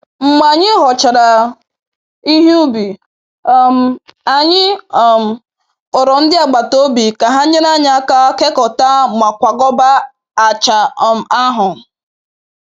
Mgbe anyị ghọchara ihe ubi, um anyị um kpọrọ ndị agbataobi ka ha nyere anyị aka kekọta ma kwakọba acha um ahụ.